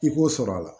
I k'o sɔrɔ a la